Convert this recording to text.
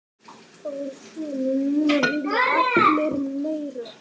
Núna vilja allir meira.